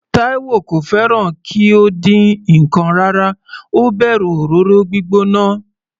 Taiwo kò fẹ́ràn kí ó dín ǹkan rárá, ó bẹ̀rù òróró gbígbóná.